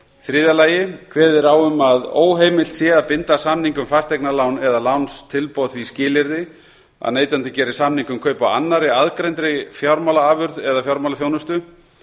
þriðja kveðið er á um að óheimilt sé að binda samning um fasteignalán eða lánstilboð því skilyrði að neytandi geri samning um kaup á annarri aðgreindri fjármálaafurð eða fjármálaþjónustu